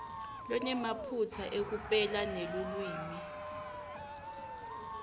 lonemaphutsa ekupela nelulwimi